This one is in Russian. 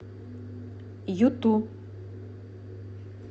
юту